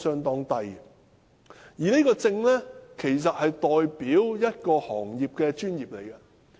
然而，這個證件其實代表一個行業的專業。